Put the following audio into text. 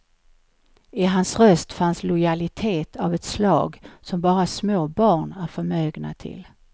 I hans röst fanns lojalitet av ett slag som bara små barn är förmögna till.